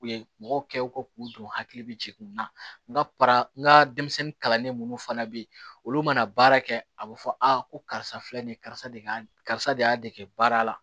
U ye mɔgɔw kɛ u ko k'u don hakili bɛ jigin n na n ka n ka denmisɛnnin kalanen minnu fana bɛ yen olu mana baara kɛ a bɛ fɔ aa ko karisa filɛ nin ye karisa de ka karisa de y'a dege baara la